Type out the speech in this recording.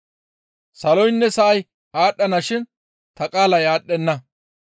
Saloynne sa7ay aadhdhana shin ta qaalay aadhdhenna.